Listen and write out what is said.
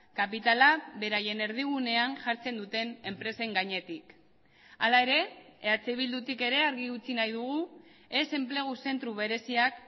kapitala beraien erdigunean jartzen duten enpresen gainetik hala ere eh bildutik ere argi utzi nahi dugu ez enplegu zentro bereziak